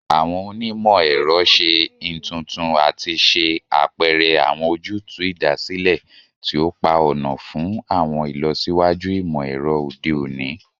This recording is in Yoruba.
Awọn onimọ-ẹrọ ṣe intuntun ati ṣe apẹrẹ awọn ojutu idasile ti o pa ọna fun awọn ilọsiwaju imọ-ẹrọ ode oni